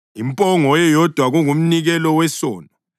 impongo eyodwa kungumnikelo wesono;